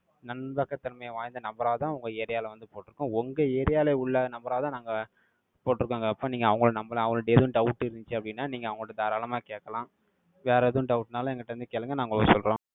நன்பகத்தன்மை வாய்ந்த, நபராதான், உங்க area ல வந்து, போட்டிருக்கோம். உங்க area ல உள்ள, நபராதான், நாங்க, போட்டிருக்காங்க. அப்ப, நீங்க அவங்களை நம்பலாம். அவங்களுக்கு ஏதும் doubt இருந்துச்சு அப்படின்னா, நீங்க அவங்ககிட்ட தாராளமா கேட்கலாம். வேற எதுவும் doubt னாலும், என்கிட்ட இருந்து கேளுங்க. நான் உங்களுக்கு சொல்றோம்.